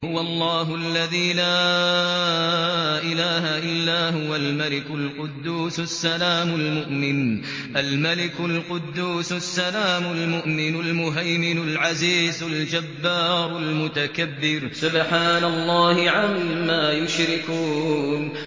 هُوَ اللَّهُ الَّذِي لَا إِلَٰهَ إِلَّا هُوَ الْمَلِكُ الْقُدُّوسُ السَّلَامُ الْمُؤْمِنُ الْمُهَيْمِنُ الْعَزِيزُ الْجَبَّارُ الْمُتَكَبِّرُ ۚ سُبْحَانَ اللَّهِ عَمَّا يُشْرِكُونَ